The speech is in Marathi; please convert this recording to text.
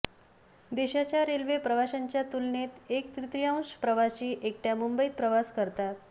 देशाच्या रेल्वे प्रवाशांच्या तुलनेत एक तृतीयांश प्रवासी एकट्या मुंबईत प्रवास करतात